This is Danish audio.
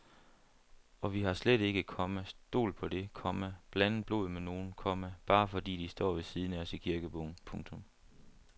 Og vi har slet ikke, komma stol på det, komma blandet blod med nogen, komma bare fordi de står ved siden af os i kirkebogen. punktum